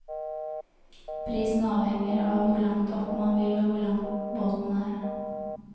Prisen avhenger av hvor langt opp man vil og hvor lang båten er.